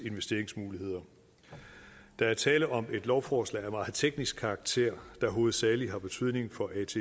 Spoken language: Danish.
investeringsmuligheder der er tale om et lovforslag af meget teknisk karakter der hovedsagelig har betydning for atps